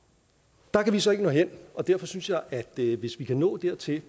der kan vi så ikke nå hen og derfor synes jeg at det er godt hvis vi kan nå dertil